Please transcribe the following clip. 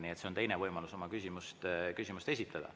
Nii et see on teine võimalus oma küsimust esitada.